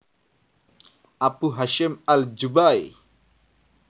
Abu Hasyim al Jubba i